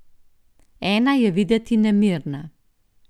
Ena je videti nemirna.